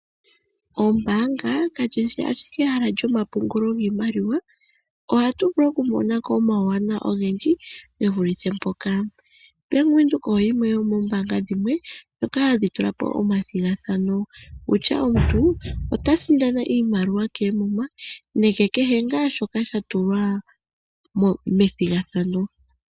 Ombaanga kali shi owala lyompungulo giimaliwa ohatu vulu okumona ko uuwanawa owundji ge vulithe mpoka bank Windhoek oye yimwe yonoombanga dhoka hadhi tula po olyo omilandu nomalandulathano kutya omuntu ota sindana iimaliwa koomuma nenge kehe ngaa shoka sha tulwa methigathano.